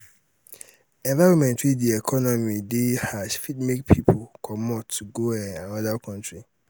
environment wey di economy de um harsh fit make pipo um comot go um another country